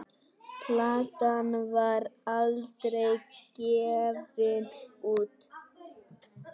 Platan var aldrei gefin út.